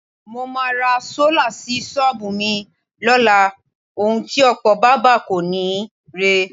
Mo máa ra sólà sí s̩ó̩ò̩bù mi ló̩la. Ohun ti ò̩pò̩ bábà kò ní rè é.